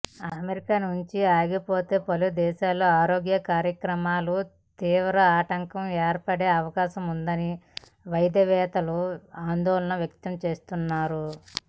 America నుంచి ఆగిపోతే పలుదేశాల్లో ఆరోగ్య కార్యక్రమాలకు తీవ్ర ఆటంకం ఏర్పడే అవకాశముందని వైద్యవేత్తలు ఆందోళన వ్యక్తంచేస్తున్నారు